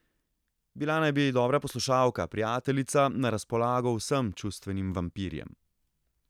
Bila naj bi dobra poslušalka, prijateljica, na razpolago vsem čustvenim vampirjem.